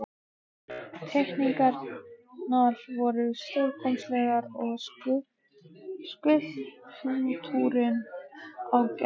Teikningarnar voru stórkostlegar og skúlptúrinn ágætur.